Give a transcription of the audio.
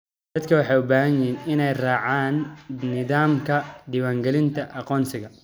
Dadku waxay u baahan yihiin inay raacaan nidaamka diiwaangelinta aqoonsiga.